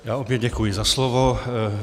Já opět děkuji za slovo.